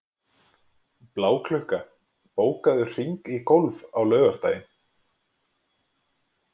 Bláklukka, bókaðu hring í golf á laugardaginn.